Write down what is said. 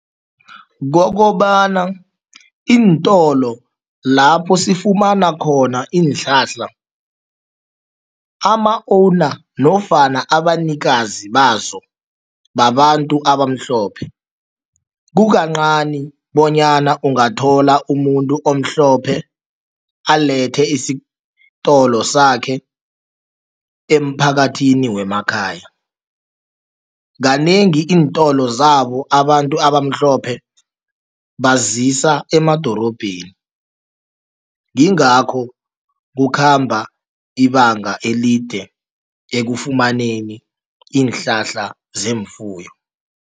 Kokobana iintolo lapho sifumana khona iinhlahla, ama-owner nofana abanikazi bazo babantu abamhlophe, kukancani bonyana ungathola umuntu omhlophe alethe isitolo sakhe emphakathini wemakhaya. Kanengi iintolo zabo abantu abamhlophe bazisa emadorobheni, ngingakho kukhamba ibanga elide ekufumaneni iinhlahla zeemfuyo.